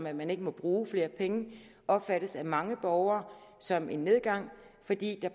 at man ikke må bruge flere penge opfattes af mange borgere som en nedgang fordi der